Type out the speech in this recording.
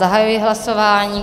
Zahajuji hlasování.